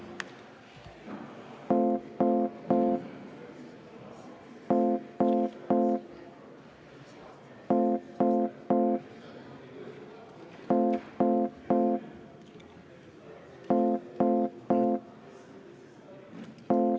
Vaheaeg kümme minutit.